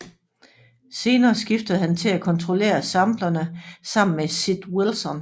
Senere skiftede han til at kontrollere samplerne sammen med Sid Wilson